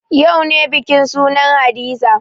Yau ne bikin sunan hadiza